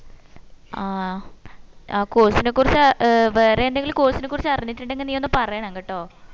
ആ അഹ് course ന കുറിച്ച ഏർ വേറെ എന്തെങ്കിലും course ന കുറിച്ച അറിഞ്ഞിട്ടുണ്ടെങ്കിൽ നീ ഒന്ന് പറയണം കേട്ടോ